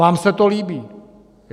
Vám se to líbí?